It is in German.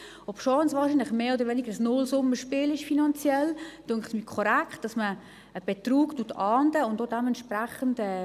Obwohl es wahrscheinlich ein Nullsummenspiel ist, finde ich es korrekt, dass man einen Betrug ahndet und es auch dementsprechend behandelt.